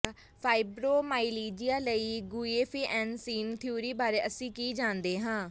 fibromyalgia ਲਈ guaifenesin theory ਬਾਰੇ ਅਸੀਂ ਕੀ ਜਾਣਦੇ ਹਾਂ